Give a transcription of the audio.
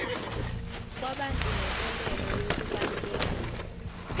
kwabantu nenkolelo yokubalulekile